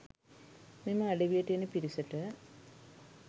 මෙම අඩවියට එන පිරිසට.